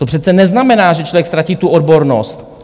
To přece neznamená, že člověk ztratí tu odbornost.